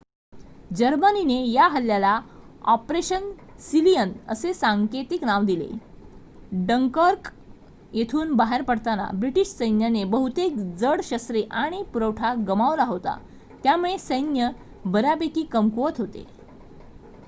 "जर्मनीने या हल्ल्याला "ऑपरेशन सीलियन" असे सांकेतिक नाव दिले. डंकर्क येथून बाहेर पडताना ब्रिटिश सैन्याने बहुतेक जड शस्त्रे आणि पुरवठा गमावला होता त्यामुळे सैन्य बऱ्यापैकी कमकुवत होते.